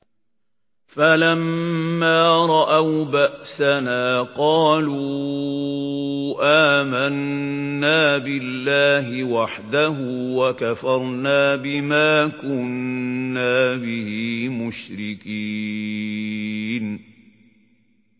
فَلَمَّا رَأَوْا بَأْسَنَا قَالُوا آمَنَّا بِاللَّهِ وَحْدَهُ وَكَفَرْنَا بِمَا كُنَّا بِهِ مُشْرِكِينَ